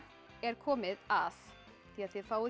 er komið að því að þið fáið